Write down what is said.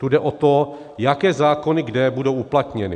Tu jde o to, jaké zákony kde budou uplatněny.